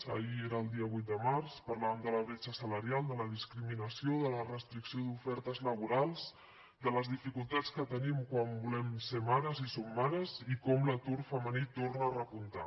ahir era el dia vuit de març parlàvem de la bretxa salarial de la discriminació de la restricció d’ofertes laborals de les dificultats que tenim quan volem ser mares i som mares i com l’atur femení torna a repuntar